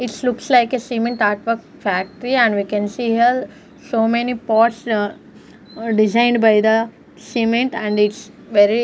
its looks like a cement artwork factory and we can see here so many pots designed by the cement and it's very--